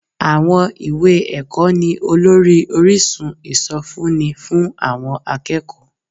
Àwọn ìwé ẹ̀kọ́ ni olórí orísun ìsọfúnni fún àwọn akẹ́kọ̀ọ́